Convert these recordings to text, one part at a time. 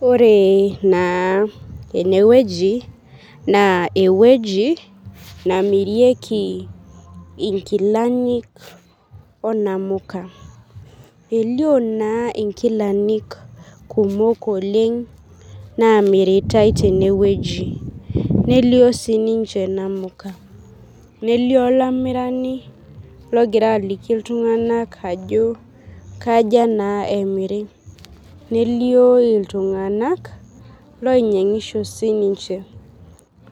Ore na enewui na ewueji namirieki nkilani onamuka, elio na nkilani kumok Oleng namiritae tene nelio sinye namuka nelio olamirani logira aliki ltunganak ajo kaja na emiri nelio na ltunganak oinyangisho sinche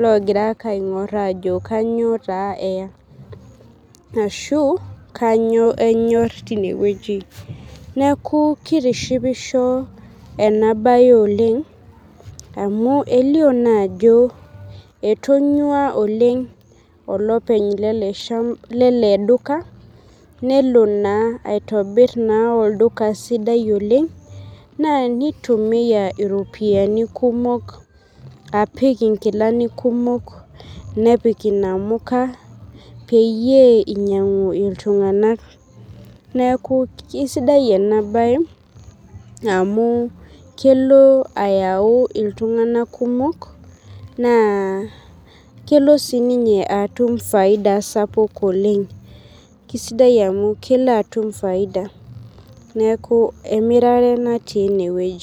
ogira aingur ajo kanyio eya ashu kanyio enyor tinewueji neaku kitishipisho enabae tenewueji amu kelio ajo etanyua oleng olopeny eleduka nelobaitobir olduka sidai oleng na nitumia iropiyiani kumok apik nkilani kumok nepik inamuka peyie einyangu ltunganak neaku kesidai enabae amu kelo ayau ltunganak kumok na kelo sinye atum faida sapuk oleg neaku emirare natii enewueji.